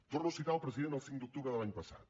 torno a citar el president el cinc d’octubre de l’any passat